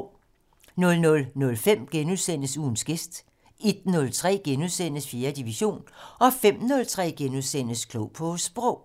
00:05: Ugens gæst * 01:03: 4. division * 05:03: Klog på Sprog *